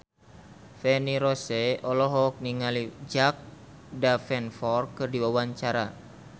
Feni Rose olohok ningali Jack Davenport keur diwawancara